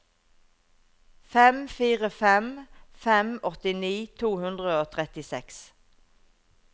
fem fire fem fem åttini to hundre og trettiseks